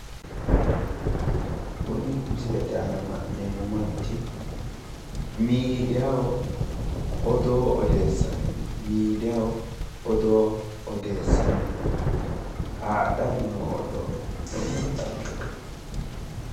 Kuni misilete aana la'neemmo manchi midiyaaho odoo odeessanni no midiyaaho odoo odeessanni no haadhani noo oddo lowonta xaggete.